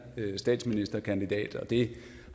statsministerkandidat og det